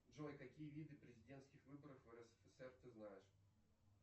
джой какие виды президентских выборов в рсфср ты знаешь